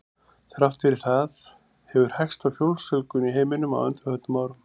Þrátt fyrir það hefur hægst á fólksfjölgun í heiminum á undanförnum árum.